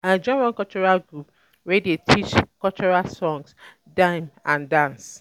I join one cultural group wey dey teach cultural song dem and dance.